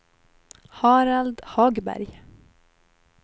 Harald Hagberg